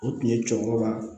O tun ye cɛkɔrɔba ye